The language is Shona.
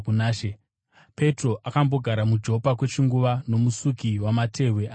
Petro akambogara muJopa kwechinguva nomusuki wamatehwe ainzi Simoni.